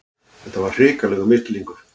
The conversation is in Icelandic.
Þetta var hrikalegur misskilningur!